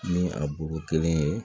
Ni a bulu kelen ye